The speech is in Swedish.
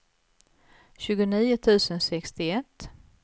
tjugonio tusen sextioett